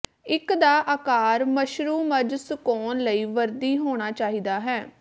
ਇਕ ਦਾ ਆਕਾਰ ਮਸ਼ਰੂਮਜ਼ ਸੁਕਾਉਣ ਲਈ ਵਰਦੀ ਹੋਣਾ ਚਾਹੀਦਾ ਹੈ